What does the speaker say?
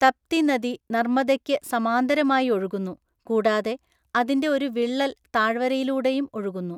തപ്തി നദി നർമ്മദയ്ക്ക് സമാന്തരമായി ഒഴുകുന്നു, കൂടാതെ അതിന്റെ ഒരു വിള്ളൽ താഴ്വരയിലൂടെയും ഒഴുകുന്നു.